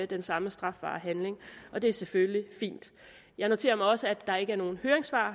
den samme strafbare handling og det er selvfølgelig fint jeg noterer mig også at der ikke i nogen høringssvar